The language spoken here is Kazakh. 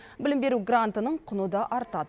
білім беру грантының құны да артады